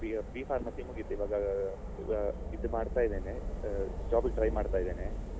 B pharmacy ಮುಗಿತು ಇವಾಗ ಈಗ ಇದು ಮಾಡ್ತಾ ಇದ್ದೇನೆ ಅಹ್ job ಗೆ try ಮಾಡ್ತಾ ಇದ್ದೇನೆ.